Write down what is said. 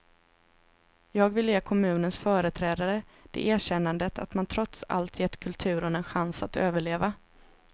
Jag vill ge kommunens företrädare det erkännandet att man trots allt gett kulturen en chans att överleva.